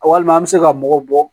Walima an bɛ se ka mɔgɔw bɔ